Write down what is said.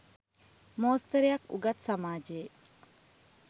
මෝස්තරයක් උගත් සමාජයේ.